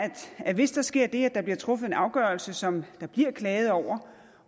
at hvis der sker det at der bliver truffet en afgørelse som der bliver klaget over